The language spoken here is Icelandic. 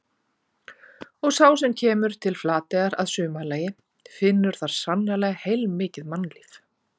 Og sá sem kemur til Flateyjar að sumarlagi finnur þar sannarlega heilmikið mannlíf.